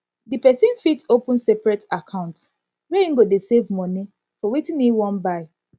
di person fit open separate account where im go dey save money for wetin im wan buy